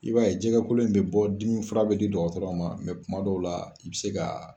I b'a ye jɛgɛkolo in be bɔ ,dimi fura be di dɔgɔtɔrɔ ma kuma dɔw la i bi se ka